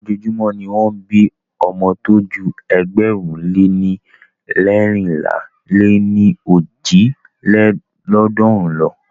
Ojoojúmọ́ ni won ń bí ọmọ tó ju ėgbẹ̀rún lé leérinlá lé ní ojì lélọ́ọ̀dúnrún lo.